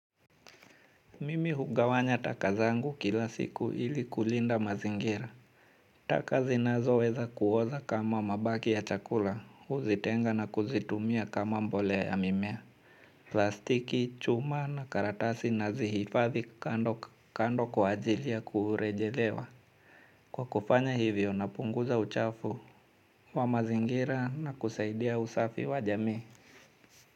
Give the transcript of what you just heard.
Mimi hugawanya taka zangu kila siku ili kulinda mazingira. Taka zinazoweza kuoza kama mabaki ya chakula huzitenga na kuzitumia kama mbolea ya mimea. Plastiki, chuma na karatasi nazihifadhi kando kwa ajili ya kuhurejelewa. Kwa kufanya hivyo napunguza uchafu wa mazingira na kusaidia usafi wa jamii.